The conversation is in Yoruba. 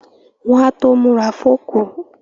Wọ́n á tó múra fókù